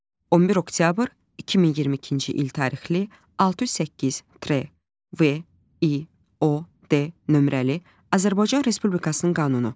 11 oktyabr 2022-ci il tarixli 608 T V İ O D nömrəli Azərbaycan Respublikasının qanunu.